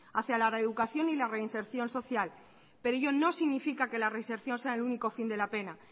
hacia la reeducación y la reinserción social pero ello no significa que la reinserción sea el único fin de la pena